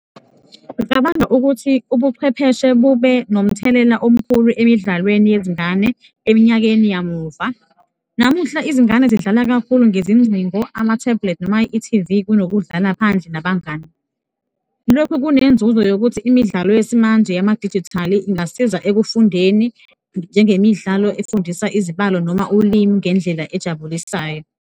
Ngicabanga ukuthi ubuchwepheshe bube nomthelela omkhulu emidlalweni yezingane eminyakeni yamuva. Namuhla izingane zidlala kakhulu ngezingcingo, ama-tablet noma i-T_V kunokudlala phandle nabangani. Lokhu kunenzuzo yokuthi imidlalo yesimanje yama dijithali ingasiza ekufundeni, njengemidlalo efundisa izibalo noma ulimi ngendlela ejabulisayo.